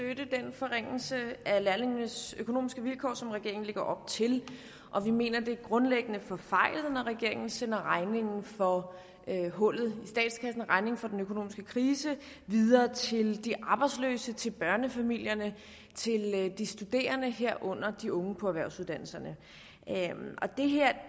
forringelse af lærlingenes økonomiske vilkår som regeringen lægger op til og vi mener at det grundlæggende er forfejlet når regeringen sender regningen for hullet i statskassen regningen for den økonomiske krise videre til de arbejdsløse til børnefamilierne til de studerende herunder de unge på erhvervsuddannelserne